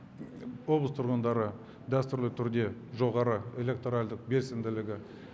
облыс тұрғындары дәстүрлі түрде жоғары электоральдық белсенділігі